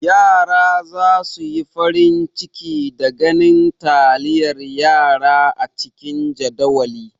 Yara za su yi farin ciki da ganin taliyar yara a cikin jadawali.